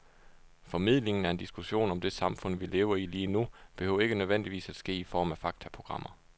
Formidlingen af en diskussion om det samfund, vi lever i lige nu, behøver ikke nødvendigvis at ske i form af faktaprogrammer.